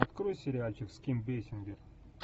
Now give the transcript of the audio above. открой сериальчик с ким бейсингер